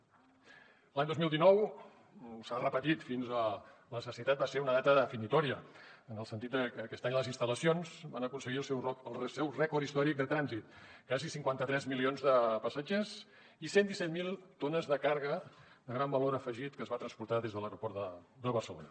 l’any dos mil dinou s’ha repetit fins a la sacietat va ser una data definitòria en el sentit de que aquest any les instal·lacions van aconseguir el seu rècord històric de trànsit quasi cinquanta tres milions de passatgers i cent i disset mil tones de càrrega de gran valor afegit que es van transportar des de l’aeroport de barcelona